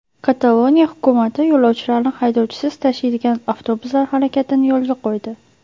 Kataloniya hukumati yo‘lovchilarni haydovchisiz tashiydigan avtobuslar harakatini yo‘lga qo‘ydi.